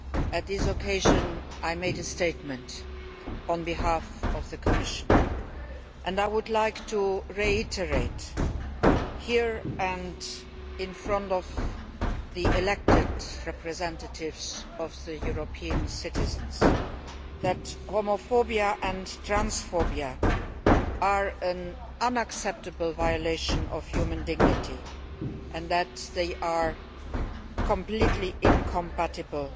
On that occasion I made a statement on behalf of the Commission, and I would like to reiterate here, in front of the elected representatives of the European citizens, that homophobia and transphobia are an unacceptable violation of human dignity and that they are completely incompatible